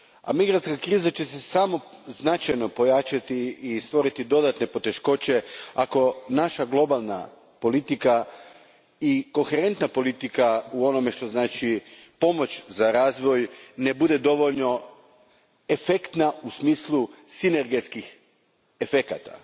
Migrantska kriza će se samo značajno pojačati i stvoriti dodane poteškoće ako naša globalna politika i koherentna politika u onome što znači pomoć za razvoj ne bude dovoljno efektna u smislu sinergijskih efekata.